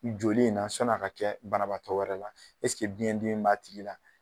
Joli in na sɔn'a ka kɛ banabaatɔ wɛrɛ la biyɛn dimi b'a tigi la?